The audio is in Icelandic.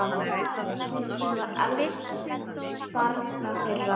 Kristín var elst barna þeirra.